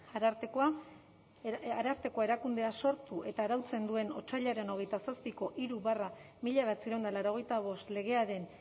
arartekoa erakundea sortu eta arautzen duen otsailaren hogeita zazpiko hiru barra mila bederatziehun eta laurogeita bost legearen